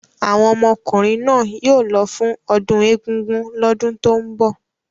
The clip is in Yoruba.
Àwọn ọmọkùnrin náà yóò lọ fún ọdún Egungun lọ́dún tó ń bọ̀.